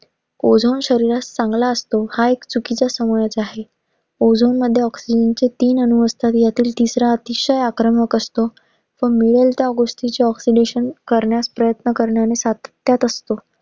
Ozone शरीरास चांगला असतो हा एक चुकीचा समाज आहे. Ozone मध्ये oxygen चे तीन आणू असतात. ह्यातील तिसरा अतिशय आक्रमक असतो. तो मिळेल त्या गोस्टिंचे oxidation करण्यास प्रयत्न करण्या सातत्यात असतो.